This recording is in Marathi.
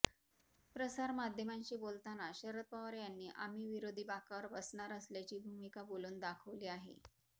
प्रसार माध्यमांशी बोलताना शरद पवार यांनी आम्ही विरोधी बाकावर बसणार असल्याची भूमिका बोलून दाखवली आहे